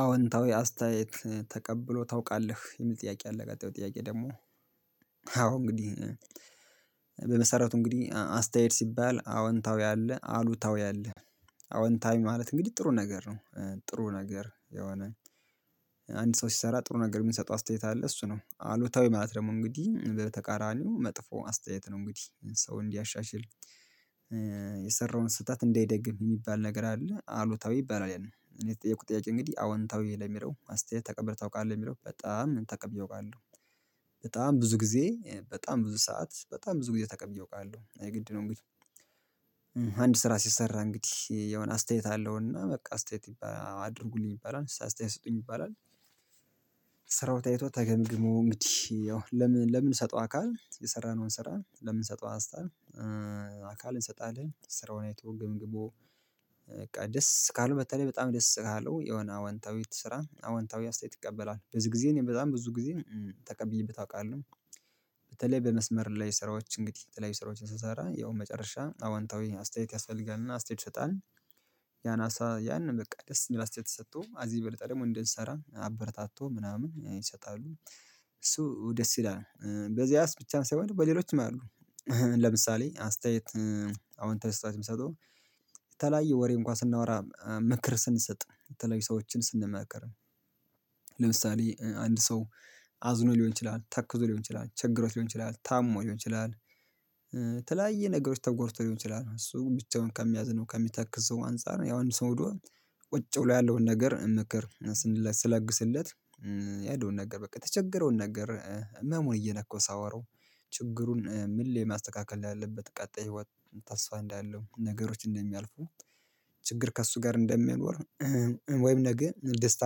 አዎንታዊ አስተያየት ተቀብሎ ታውቃለህ የሚል ጥያቄ አለ ቀጣዩ ጥያቄ ደግሞ አዎ እንግዲህ በመሰረቱ እንግዲህ አስተያየት ሲባል አወንታዊ አለ አሉታዊ አለ። አወንታዊ ማለት እንግዲህ ጥሩ ነገር ነው ጥሩ ነገር የሆነ አንድ ሰው ሲሰራ ጥሩ ነገር የምንሰጠው አስተያየት አለ እሱ ነው። አሉታዊ ማለት ደግሞ እንግዲህ በተቃራኒው መጥፎ አስተያየት ነው እንግዲህ ሰው እንዲያሻሽል የሰራውን ስህተት እንዳይደግም የሚባል ነገር አለ አሉታዊ ይባላል። ያን እኔ የተጠየኩት ጥያቄ እንግዲህ አወንታዊ ለሚለው አስተያየት ተቀብለህ ታውቃለህ ለሚለው በጣም ተቀብዬ አውቃለሁ። በጣም ብዙ ጊዜ በጣም ብዙ ሰዓት በጣም ብዙ ጊዜ ተቀብዬ አውቃለሁ የግድ ነው። እንግዲህ አንድ ስራ ሲሰራ እንግዲህ የሆነ አስተያየት አለውና በቃ አስተያየት ይባ አድርጉልኝ ይባላል ሰ አስተያየት ስጡኝ ይባላል። ስራው ታይቶ ተገምግሞ እንግዲህ ያው ለምን ለምን ሰጠው አካል የሰራነውን ስራ ለምንሰጠው አስታር አካል እንሰጣለን ስራውን አይቶ ገምግሞ በቃ ደስ ካለው በተለይ በጣም ደስ ካለው የሆነ አወንታዊት ስራ አወንታዊ አስተያየት ይቀበላል ብዙ ጊዜ እኔ በጣም ብዙ ጊዜ ተቀብዬበት አውቃለሁ። በተለይ በመስመር ላይ ስራዎች እንግዲህ የተለያዩ ስራዎችን ስትሰራ ያው መጨረሻ አዋንታዊ አስተያየት ያስፈልጋልና አስተያየት ይሰጣል ያናሳ ያን በቃ ደስ የሚል አስተያየት ተሰጥቶ አዚ የበለጠ ደግሞ እንድንሰራ አበረታቶ ምናምን ይሰጣሉ። እሱ ደስ ይላል በዚያስ ብቻ ሳይሆን በሌሎችም አሉ ለምሳሌ አስተያየት አዎንታዊ አስተያየት የምትሰጠው የተለያየ ወሬ እንኳን ስናወራ ምክር ስንሰጥ የተለያዩ ሰዎችን ስንመከር ለምሳሌ አንድ ሰው አዝኖ ሊሆን ይችላል ተክዞ ሊሆን ይችላል ቸግሮት ሊሆን ይችላል ታሞ ሊሆን ይችላል። በተለያዩ ነገሮች ተጎድቶ ሊሆን ይችላል እሱ ብቻውን ከሚያዝነው ከሚተክዘው አንፃር ያው አንድ ሰው ሂዶ ቁጭ ብሎ ያለውን ነገር ስንለ ስለግስለት ያለውን ነገር በቃ የተቸገረውን ነገር ህመሙን እየነካው ሳወራው ችግሩን ምን ላይ ማስተካከል እንዳለበት ቀጣይ ህይወት ተስፋ እንዳለው ነገሮች እንደሚያልፉ ችግር ከእሱ ጋር እንደሚኖር ወይም ነገ ደስታ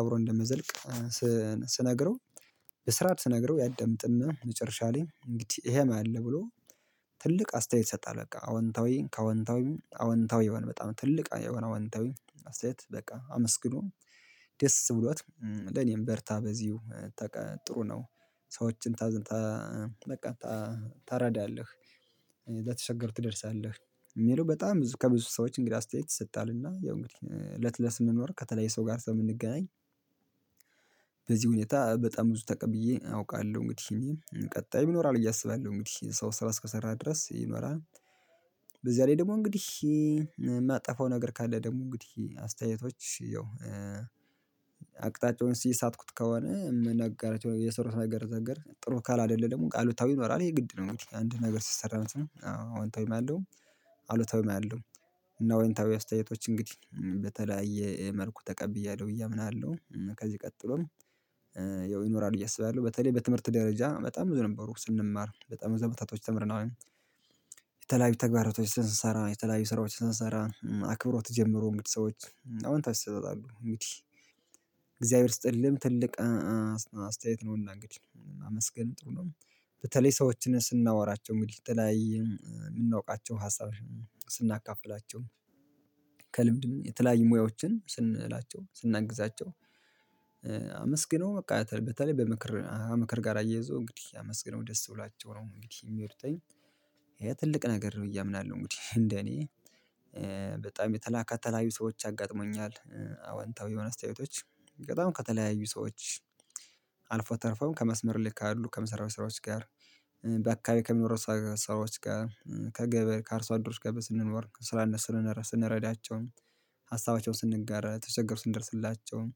አብሮ እንደሚዘልቅ ስነግረው በስርዓት ስነግረው ያዳምጥና መጨረሻ ላይ እንግዲህ ይሄም አለ ብሎ ትልቅ አስተያየት ይሰጣል። በቃ አዎንታዊ ከአዎንታዊም አዎንታዊ የሆን በጣም ትልቅ የሆነ አዎንታዊ አስተያየት በቃ አመስግኖ ደስ ብሎት ለኔም በርታ በዚሁ ተቀ ጥሩ ነው። ሰዎችን ታዝን ታ በቃ ታረዳለህ ለተቸገሩ ትደርሳለህ የሚለው በጣም ከብዙ ሰዎች እንግዲ አስተያየት ይሰጣልና። ያው እንግዲህ እለት እለት ስንኖር ከተለየ ሰው ጋር ስለምንገናኝ በዚህ ሁኔታ በጣም ብዙ ተቀብዬ አውቃለሁ እንግዲህ ቀጣይም ይኖራል ብዬ አስባለሁ እንግዲህ ሰው ስራ እስከሰራ ድረስ ይኖራል። በዚያ ላይ ደግሞ እንግዲህ የማጠፋው ነገር ካለ ደግሞ እንግዲህ አስተያየቶች ያው አቅጣጫውን ሲሳትኩት ከሆነ የሰሩት ነገር ዘነገር ጥሩ ካል አይደለም አሉታዊ ይኖራል ይሄ ግድ ነው እንግዲህ አንድ ነገር ሲሰራ አዎ አሁን ወይም ያለው አሉታዊም ያለው እና ወይን ታዊ አስተያየቶች እንግዲህ በተለያየ መልኩ ተቀብያለሁ ብዬ አምናለሁ። ከዚህ ቀጥሎም ያው ይኖራል ብዬ አስባለሁ በተለይ በትምህርት ደረጃ በጣም ብዙ ነበሩ ስንማር በጣም ብዙ አመታቶች ተምረናል። የተለያዩ ተግባራቶች ስንሰራ የተለያዩ ስራዎች ስንሰራ አክብሮት ጀምሮ እንግዲህ ሰዎች አዎንታዊ አሰጣጥ አሉ እንግዲህ እግዚአብሔር ይስጥልህም ትልቅ አስተያየት ነውና እንግዲህ ማመስገን ጥሩ ነው። በተለይ ሰዎችን ስናወራቸው እንግዲ የተለያየ የምናውቃቸው ሀሳቦች ስናካፍላቸው ከ ልምድም የተለያዩ ሙያዎችን ስንላቸው ስናግዛቸው አመስግኖ በቃ በተለይ በምክር ምክር ጋር አያይዞ እንግዲህ አመስግነው ደስ ብሏችሁ ነው እንግዲህ የሚሄዱትኝ ይሄ ትልቅ ነገር ነው ብዬ አያምናለሁ። እንግዲህ እንደ እኔ የተላ ከተለያዩ ሰዎች አጋጥመኛል አወንታዊ የሆነ አስተያየቶች በጣም ከተለያዩ ሰዎች አልፎ ተርፎም ከመስመር ላይ ካሉ ከምሰራቸው ስራዎች ጋር በአካባቢ ከሚኖሩ ሰዎች ጋር ከገበሬ ከአርሶ አደሮች ገበያ ስንኖር ስራነት ስንረዳቸውም ሀሳባቸውን ስንጋራ ተቸግሮ ስንደርስላቸውም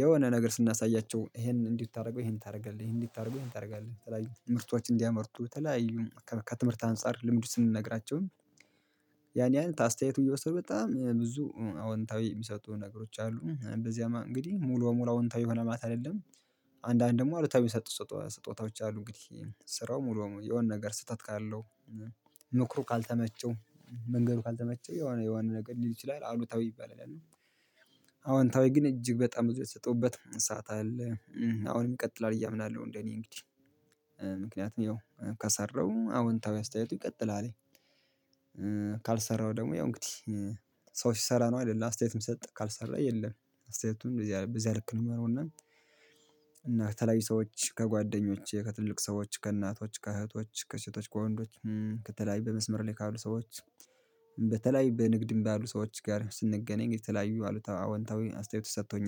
የሆነ ነገር ስናሳያቸው ይሄን እንዲህ ብታደርገው ይሄን ታደርጋለህ ይሄን እንዲህ ብታደርገው ይሄን ታደርጋለህ የተለያዩ ምርቶችን እንዲያመርቱ የተለያዩ ከትምህርት አንፃር ልምዱ ስንነግራቸው ያን ያን አስተያየቱ እየወሰዱ በጣም ብዙ አዎንታዊ የሚሰጡ ነገሮች አሉ በዚያም እንግዲህ ሙሉ በሙሉ አዎንታዊ ሆነ ማለት አይደለም። አንዳንድ ደግሞ አሉታዊ ሚሰጡ ስጦታዎች አሉ እንግዲህ ስራው ሙሉ በሙሉ የሆነ ነገር ስህተት ካለው ምክሩ ካልተመቸው መንገዱ ካልተመቸው የሆነ የሆነ ነገር ሊል ይችላል አሉታዊ ይባላል። ያኔ አዎንታዊ ግን እጅግ በጣም ብዙ የተሰጠውበት ሰዓት አለ አሁንም ይቀጥላል ብዪ አምናለሁ። እንደኔ እንግዲ ምክንያቱም ያው ከሰራው አዎንታዊ አስተያየቱ ይቀጥላል። ካልሰራው ደግሞ ያው እንግዲህ ሰው ሲሰራ ነው አይደል አስተያየት ሚሰጥ ካልሰራ የለም አስተያየቱን በዚህ በዚህ ልክ ነው የማየው። እና እና ከተለያዩ ሰዎች ከጓደኞቼ ከትልቅ ሰዎች ከእናቶች ከእህቶች ከሴቶች ከወንዶች ከተለያዩ በመስመር ላይ ካሉ ሰዎች በተለያዩ በንግድ የሚባሉ ሰዎች ጋር ስንገናኝ የተለያዩ አሉታ አዎንታዊ አስተያየት ሰጥቶኛል